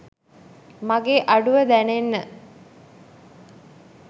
මගේ අඩුව දැනෙන්න